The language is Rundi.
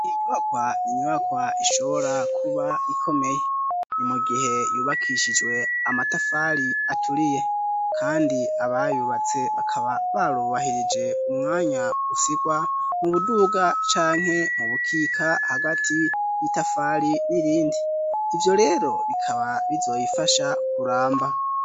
Iyi nyubakwa n'inyubakwa ishobora kuba ikomeye. Ni mu gihe yubakishijwe amatafari aturiye kandi abayubatse bakaba barubahirije umwanya usigwa mu buduga canke mu bukika hagati y'itafari n'irindi ivyo rero bikaba bizoyifasha kuramba.